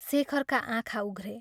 शेखरका आँखा उघ्रे।